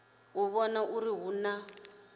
u vhona uri hu na